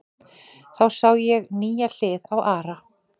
Þá sá ég nýja hlið á Ara.